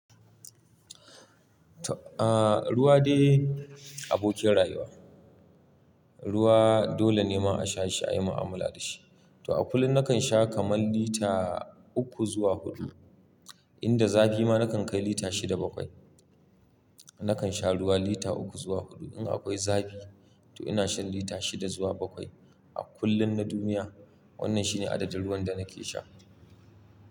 Ruwa dai abokin rayuwa, ruwa dole ne ma a sha shi ayi mu'amala da shi. To a kullum nakan sha kaman lita uku zuwa hudu, inda zafi ma nakan kai lita shida bakwai. Nakan sha ruwa lita uku zuwa hudu, in akwai zafi to ina shan lita shida zuwa bakwai. A kullun na duniya wannan shine adadin ruwan da nake sha.